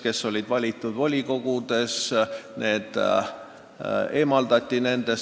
Kes olid valitud volikogudesse, need eemaldati sealt.